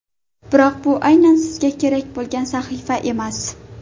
Biroq bu aynan sizga kerak bo‘lgan sahifa emas.